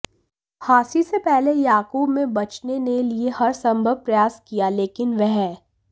फांसी से पहले याकूब में बचने ने लिए हर संभव प्रयास किया लेकिन वह